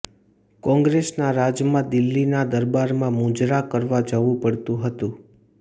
કોંગ્રેસના રાજમાં દિલ્હીના દરબારમાં મુજરા કરવા જવું પડતું હતું